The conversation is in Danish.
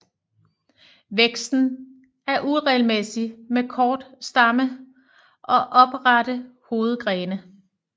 Væksten er uregelmæssig med kort stamme og oprette hovedgrene